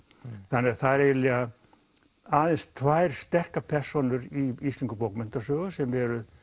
það eru aðeins tvær sterkar persónur í íslenskri bókmenntasögu sem eru